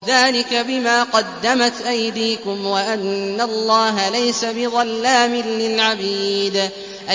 ذَٰلِكَ بِمَا قَدَّمَتْ أَيْدِيكُمْ وَأَنَّ اللَّهَ لَيْسَ بِظَلَّامٍ لِّلْعَبِيدِ